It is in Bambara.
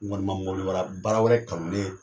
N kɔni ma baara wɛrɛ kanu ni